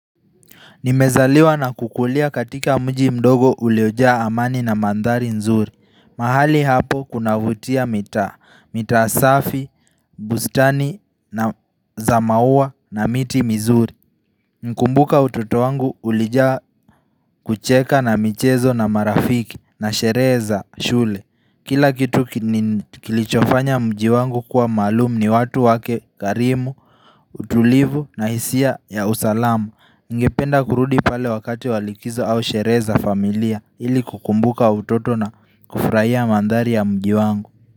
Nimezaliwa na kukulia katika mji mdogo uliyojaa amani na mandhari nzuri. Mahali hapo kunavutia mitaa. Mitaa safi, bustani, za maua na miti mzuri. Mkumbuka utoto wangu ulijaa kucheka na michezo na marafiki na sherehe za shule. Kila kitu kilichofanya mji wangu kuwa maalumu ni watu wake karimu, utulivu na hisia ya usalamu ningependa kurudi pale wakati wa likizo au shere za familia ili kukumbuka utoto na kufraia mandhari ya mji wangu.